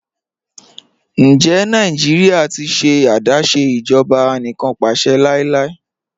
Ǹjẹ Nàìjíríà ti ṣẹ̀ adásé ìjọba ànìkànpàṣẹ̀ láíláí?